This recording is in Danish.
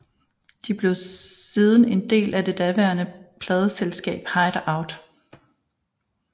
De blev siden en del af det daværende pladeselskab HideOut